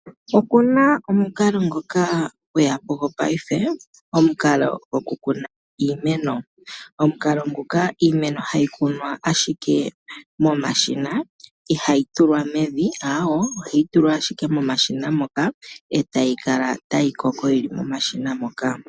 Okuna omukalo ngoka gweyapo gweyapo paife goku kuna iimeno. Omukalo nguka iimeno hayi kunwa ashike momashina ihayi tulwa mevi aawe. Ohayi tulwa ashike momashina etayi kala tayi koko yili momashina moka.